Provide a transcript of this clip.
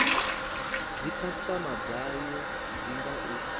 dzikhasitama dzayo ndi nga u